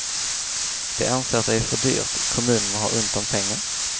De anser att det är för dyrt, kommunerna har ont om pengar.